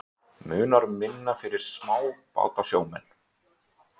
Munar um minna fyrir smábátasjómenn?